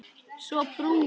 Svo brún.